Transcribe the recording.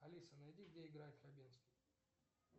алиса найди где играет хабенский